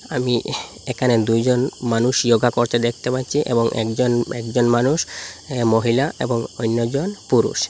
আমি এখানে দুইজন মানুষ ইয়োগা করতে দেখতে পাচ্ছি এবং একজন-একজন মানুষ এ মহিলা এবং অইন্যজন পুরুষ।